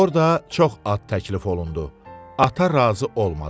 Orda çox ad təklif olundu, ata razı olmadı.